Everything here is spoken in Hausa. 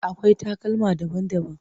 Akwai takalma daban-daban.